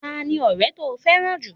Ta ni ọrẹ to fẹ́ràn jù?